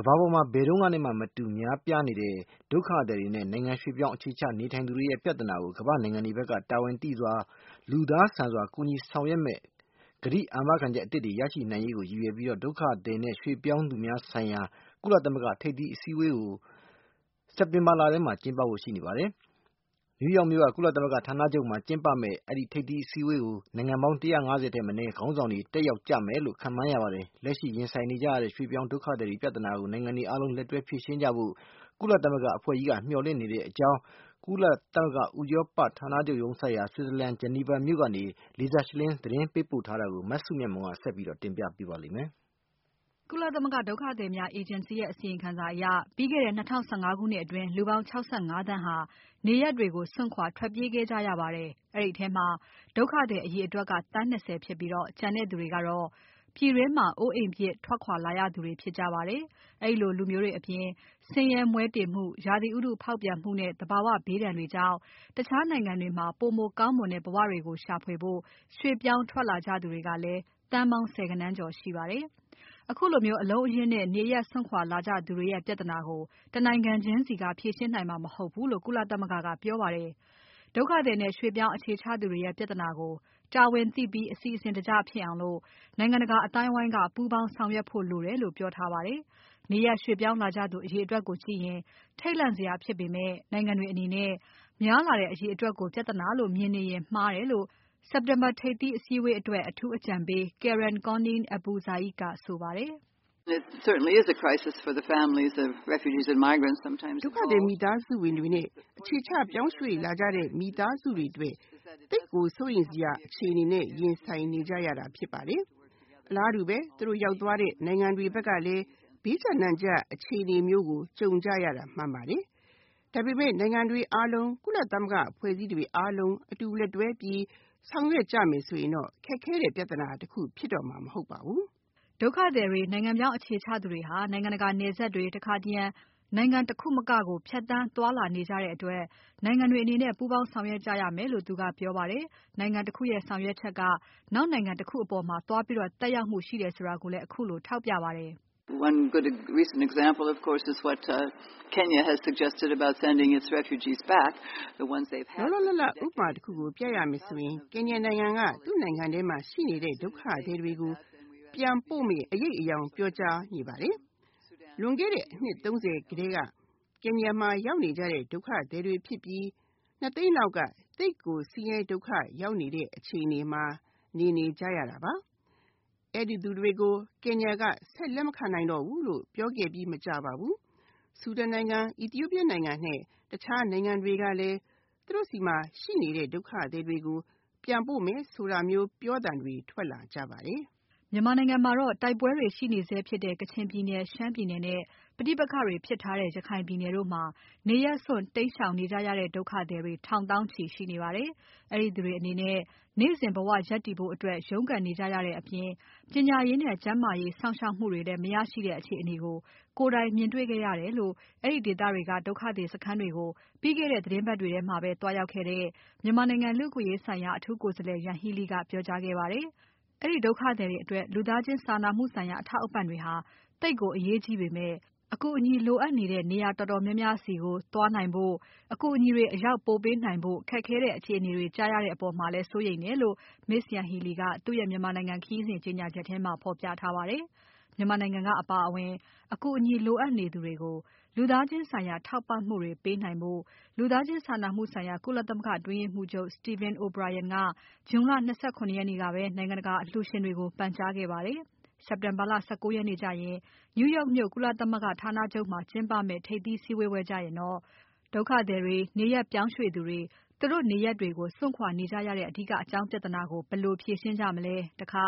ကမ္ဘာပေါ်မှာ ဘယ်တုန်းကမှနဲ့ မတူအောင် များပြားနေတဲ့ ဒုက္ခသည် နဲ့ နိုင်ငံ ရွှေ့ပြောင်းအခြေချသူများ ပြဿနာကို ကမ္ဘာနိုင်ငံတွေဖက်က တာဝန်သိစွာ၊ လူသားဆန်စွာ ကူညီဆောင်ရွက်မယ့် ကတိအာမခံချက်သစ်တွေ ရရှိနိုင်ရေးကို ရည်ရွယ်ပြီး ဒုက္ခသည်နဲ့ ရွှေ့ပြောင်းသူများဆိုင်ရာ ကုလသမဂ္ဂ ထိပ်သီး စည်းဝေးပွဲကို September လထဲမှာ ကျင်းပဖို့ရှိပါတယ်။ နယူးယောက် မြို့က ကုလသမဂ္ဂ ဌာနချုပ်မှာ ကျင်းပမယ့် ထိပ်သီးစည်းဝေးပွဲ ကို နိုင်ငံပေါင်း ၁၅၀ ထက်မနည်းက ခေါင်းဆောင်တွေ တက်ရောက်ကြမယ်လို့ ခန့်မှန်းရပါတယ်။ လက်ရှိ ရင်ဆိုင်နေကြရတဲ့ ရွှေ့ပြောင်း ဒုက္ခသည် ပြဿနာကို နိုင်ငံတွေ အားလုံး လက်တွဲဖြေရှင်းကြဖို့ ကုလမသဂ္ဂ အဖဲ့ွကြီးက မျှော်လင့်နေတဲ့အကြောင်း ကုလသမဂ္ဂ ဥရောပဌာနချုပ် ရုံးစိုက်ရာ Switzerland နိုင်ငံ Geneva မြို့ကနေ Lisa Schlein ကသတင်းပို့ပါတယ်၊ မစုမြတ်မွန်က ဆက်ပြီးတင်ပြပါလိမ့်မယ်။ ကုလသမဂ္ဂ ဒုက္ခသည်များ အေဂျင်စီရဲ့ အစီရင်ခံစာအရ ပြီးခဲ့တဲ့ ၂၀၁၅ ခုနှစ်အတွင်း လူပေါင်း ၆၅သန်းဟာ နေရပ်တွေကို စွန့်ခွာထွက်ပြေးခဲ့ကြရပါတယ်။ အဲဒီထဲမှာ ဒုက္ခသည်အရေအတွက်က သန်း ၂၀ ဖြစ်ပြီး ကျန်တဲ့သူတွေကတော့ ပြည်တွင်းမှာ အိုးအိမ်ပြစ် ထွက်ခွာလာရသူတွေ ဖြစ်ကြပါတယ်။ ဒီလိုလူမျိုးတွေ အပြင် ဆင်းရဲမွဲတေမှု၊ ရာသီဥတု ဖောက်ပြန်မှုနဲ့ သဘာဝ ဘေးဒဏ်တွေကြောင့် တခြားနိုင်ငံတွေမှာ ပိုမိုကောင်းမွန်တဲ့ ဘဝတွေကို ရှာဖွေဖို့ ရွှေ့ပြောင်း ထွက်လာကြသူတွေကလဲ သန်းပေါင်း ဆယ်ဂဏန်းကျော် ရှိပါတယ်။ ခုလို အလုံးအရင်းနဲ့ နေရပ်စွန့်ခွာ လာကြသူတွေရဲ့ပြဿနာကို တနိုင်ငံချင်းစီက ဖြေရှင်းနိုင်မှာ မဟုတ်ဘူးလို့ ကုလသမဂ္ဂက ပြောပါတယ်။ ဒုက္ခသည်နဲ့ ရွှေ့ပြောင်း အခြေချသူတွေရဲ့ ပြဿနာကို တာဝန်သိပြီး အစီအစဉ် တကျဖြစ်အောင် နိုင်ငံတကာ အသိုင်းအဝိုင်းက ပူးပေါင်းဆောင်ရွက်ဖို့ လိုတယ်လို့ ပြောထားပါတယ်။ နေရပ်ရွှေ့ပြောင်း လာကြသူ အရေအတွက်ကို ကြည့်ရင် ထိတ်လန့်စရာဖြစ်ပေမဲ့ နိုင်ငံတွေအနေနဲ့ များလာတဲ့ အရေအတွက် ကို ပြဿနာလို့ပဲ မြင်နေရင်မှားတယ်လို့ စက်တင်ဘာ ထိပ်သီးစည်းဝေးပွဲအတွက် အထူးအကြံပေး Karen Koning AbuZayd ကဆိုပါတယ်။ “ဒုက္ခသည်မိသားစုတွေ၊ နေရပ်ရွှေ့ပြောင်းလာကြတဲ့ မိသားစုတွေအတွက် အခက်အခဲ ဒုက္ခတခုဆိုတာ သေချာပါတယ်။ သူတို့ရောက်သွား တဲ့ နိုင်ငံတွေ ဖက်ကလဲ ဘေးကြပ်နံကြပ် အခြေအနေမျိုးကို ကြုံကြရတာ မှန်ပါတယ်။ နိုင်ငံတွေ အားလုံး၊ ကုလသမဂ္ဂ အဖွဲ့အစည်းတွေအားလုံး အတူလက်တွဲပြီး ဆောင်ရွက်ကြ မယ် ဆိုရင် ခက်ခဲတဲ့ပြဿနာ တခု ဖြစ်တော့မှာ မဟုတ်ပါဘူး။” ဒုက္ခသည်တွေ၊ နိုင်ငံပြောင်း အခြေချသူတွေဟာ နိုင်ငံတကာ နယ်စပ်တွေ၊ တခါတရံ နိုင်ငံ တခုမကကို ဖြတ်သန်း သွားလာနေကြတဲ့ အတွက် နိုင်ငံတွေအနေနဲ့ ပူးပေါင်း ဆောင်ရွက်ကြရမယ်လို့ သူကပြော ပါတယ်။ နိုင်ငံတခုရဲ့ ဆောင်ရွက် ချက်က နောက်နိုင်ငံတခုအပေါ်မှာ သွားပြီးသက်ရောက်မှုရှိတာကိုလဲ ခုလို ထောက်ပြပါတယ်။ “လောလောလတ်လတ် ဥပမာတခုကို ပြရမယ် ဆိုရင် ကင်ညာနိုင်ငံက သူ့နိုင်ငံထဲမှာရှိနေတဲ့ ဒုက္ခသည်တွေကို ပြန်ပို့မယ့် အရိပ်အယောင် ပြောကြား ပါတယ်။ လွန်ခဲ့တဲ့ အနှစ် ၃၀ ဆယ်ထဲက ကင်ညာမှာ ရောက်နေကြတဲ့ ဒုက္ခသည်တွေဖြစ်ပြီး ၂ သိန်းလောက်က ဆင်းရဲ စုတ်ပြတ်တဲ့ အခြေအနေ နဲ့ နေ နေကြရတဲ့သူတွေပါ။ အဲဒီလူမျိုးတွေကို ကင်ညာက ဆက် လက်မခံထားတော့ ဘူးလို့ ပြောခဲ့ပြီးမကြာပါဘူး၊ ဆူဒန်နိုင်ငံ၊ အီသီယိုးပီးယားနိုင်ငံနဲ့ တခြားနိုင်ငံတွေကလဲ သူတို့ဆီမှာ ရှိနေတဲ့ ဒုက္ခသည်တွေ ကို ပြန်ပို့မယ် ဆိုတာမျို ပြောသံတွေ ထွက်လာကြပါတယ်။” မြန်မာနိုင်ငံမှာတော့ တိုက်ပွဲတွေရှိနေဆဲဖြစ်တဲ့ ကချင်ပြည်နယ်၊ ရှမ်းပြည်နယ်နဲ့ ပဋိပက္ခတွေဖြစ်ထားတဲ့ ရခိုင်ပြည်နယ်တို့မှာ နေရပ်စွန့် တိမ်းရှောင်နေကြရတဲ့ ဒုက္ခသည်တွေ ထောင်သောင်းချီ ရှိနေပါတယ်။ အဲဒီသူတွေ အနေနဲ့ နေ့စဉ် ဘဝ ရပ်တည်ဖို့ အတွက် ရုန်းကန်နေကြရတဲ့အပြင် ပညာရေးနဲ့ ကျန်းမာရေး စောင့်ရှောက်မှုတွေလဲ မရရှိတဲ့ အခြေအနေကို ကိုယ်တိုင် မြင်တေ့ွခဲ့ရ တယ်လို့ အဲဒီဒေသတွေက ဒုက္ခသည်စခန်းတွေကို ပြီးခဲ့တဲ့ သီတင်းပါတ်တွေ ထဲသွားရောက်ခဲ့တဲ့ မြန်မာနိုင်ငံ လူ့အခွင့်အရေးဆိုင်ရာ အထူး ကိုယ်စားလှယ် Yanghee Lee ကပြောကြားခဲ့ပါတယ်။ အဲဒီ ဒုက္ခသည်တွေအတွက် လူသားချင်းစာနာမှုဆိုင်ရာ အထောက်အပံ့တွေဟာ သိပ်ကို အရေးကြီးပေမဲ့ အကူအညီ လိုအပ်နေတဲ့ နေရာ တော်တော်များများ ဆီကို သွားနိုင်ဖို့၊ အကူအညီတွေ အရောက်ပို့နိုင်ဖို့၊ ခက်ခဲတဲ့ အခြေအနေတွေ ကြားရတဲ့အပေါ်မှာလဲ စိုးရိမ်းတယ်လို့ Ms. Yanghee Lee ကသူ့ရဲ့ မြန်မာနိုင်ငံ ခရီးစဉ် ကြေညာချက်မှာ ဖော်ပြထားပါတယ်။ မြန်မာနိုင်ငံကအပါအဝင် အကူအညီ လိုအပ်နေသူတွေကို လူသားချင်း ဆိုင်ရာ ထောက်ပံ့မှုတွေ ပေးနိုင်ဖို့ လူသားချင်း စာနာမှုဆိုင်ရာ ကုလသမဂ္ဂ အတွင်းရေးမှူးချုပ် Stephen O’Brien က ဂျွန် လ ၂၇ ရက်နေ့ကပဲ နိုင်ငံတကာ အလှူရှင်တွေကို ပန်ကြားခဲ့ပါတယ်။ စက်တင်ဘာလ ၁၉ ရက်နေ့ ကျရင် နယူးယောက်မြို့ ကုလသမဂ္ဂ ဌာနချုပ်မှာ ကျင်းပမဲ့ ထိပ်သီး စည်းဝေးပွဲ ကျရင်တော့ ဒုက္ခသည်တွေ၊ နေရပ်ပြောင်းရွှေ့သူတွေ၊ သူတို့ နေရပ်တွေကို စွန့်ခွာနေကြရတဲ့ အဓိက အကြောင်းပြဿနာကို ဘယ်လို ဖြေရှင်းကြမလဲ။ တခါ